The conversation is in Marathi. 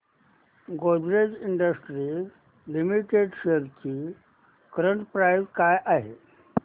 गोदरेज इंडस्ट्रीज लिमिटेड शेअर्स ची करंट प्राइस काय आहे